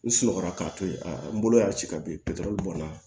N sunɔgɔ la k'a to ye a n bolo y'a ci ka bin bɔnna